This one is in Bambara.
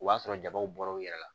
O b'a sɔrɔ jabaw bɔra u yɛrɛ la